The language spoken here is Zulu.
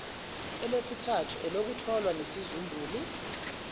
elesithathu elokutholwa nesizumbulu